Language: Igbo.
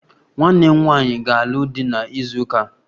Nwanne m nwanyị ga-alụ di na izu ụka a